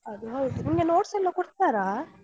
ಅದು ಹೌದು, ನಿಮ್ಗೆ notes ಎಲ್ಲ ಕೊಡ್ತಾರಾ?